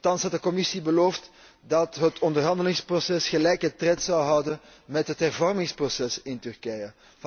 Nochtans had de Commissie beloofd dat het onderhandelingsproces gelijke tred zou houden met het hervormingsproces in Turkije.